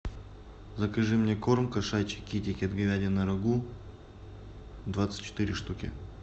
закажи мне корм кошачий китикет говядина рагу двадцать четыре штуки